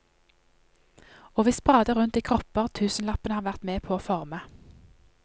Og vi sprader rundt i kropper tusenlappene har vært med på å forme.